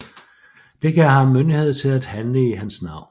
Det gav ham myndighed til at handle i hans navn